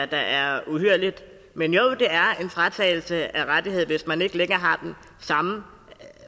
der er uhyrligt men jo det er en fratagelse af en rettighed hvis man ikke længere har den samme